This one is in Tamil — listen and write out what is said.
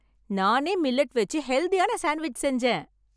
நானே மில்லட் வெச்சு ஹெல்தியான சாண்ட்விட்ச் செஞ்சேன்.